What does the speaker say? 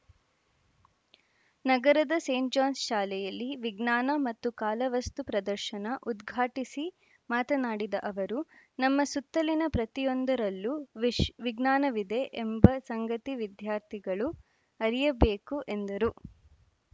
ನಗರದ Saint John's ಶಾಲೆಯಲ್ಲಿ ವಿಜ್ಞಾನ ಮತ್ತು ಕಾಲ ವಸ್ತು ಪ್ರದರ್ಶನ ಉದ್ಘಾಟಿಸಿ ಮಾತನಾಡಿದ ಅವರು ನಮ್ಮ ಸುತ್ತಲಿನ ಪ್ರತಿಯೊಂದರಲ್ಲೂ ವಿಶ್ ವಿಜ್ಞಾನವಿದೆ ಎಂಬ ಸಂಗತಿ ವಿದ್ಯಾರ್ಥಿಗಳು ಅರಿಯಬೇಕು ಎಂದರು